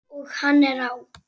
Og hann er á!